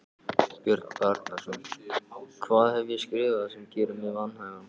Björn Bjarnason: Hvað hef ég skrifað sem gerir mig vanhæfan?